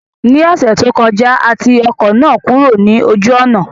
Ní ọ̀sẹ̀ tó kọjá, a ti ọkọ̀ náà kúrò ní ojú ọ̀nà